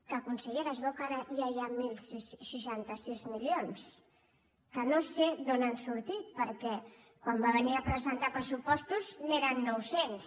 que consellera es veu que ara ja hi ha deu seixanta sis milions que no sé d’on han sortit perquè quan va venir a presentar pressupostos n’eren nou cents